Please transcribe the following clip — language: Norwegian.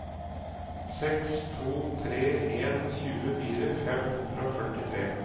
seks to tre en tjuefire fem hundre og førtitre